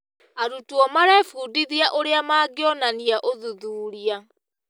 Arutwo marebundithia ũrĩa mangĩonania ũthuthuria.